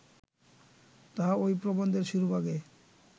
তাহা ঐ প্রবন্ধের শিরোভাগে